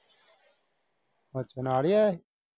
ਅੱਛਾ ਨਾਲ ਈ ਆਇਆ ਸੀ।